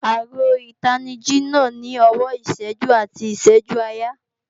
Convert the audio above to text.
Aago ìtanijí náà ní ọwọ́ ìṣẹ́jú àti ìṣẹ́jú-àyà